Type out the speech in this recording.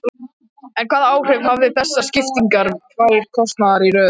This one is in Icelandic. En hvaða áhrif hafa þessar sviptingar tvær kosningar í röð?